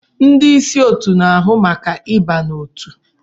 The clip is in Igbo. Ndị ịsị otu na-ahụ maka ịba n'otu.